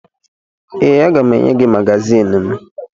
Ee, aga m enye gị magazin m